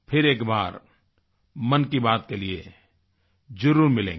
फिर एक बार मन की बात के लिए ज़रूर मिलेंगे